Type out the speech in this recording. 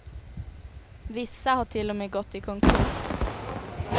Vissa har till och med gått i konkurs.